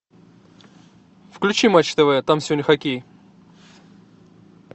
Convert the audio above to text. включи матч тв там сегодня хоккей